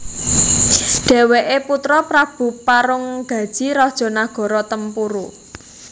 Dheweke putra Prabu Parunggaji raja nagara Tempuru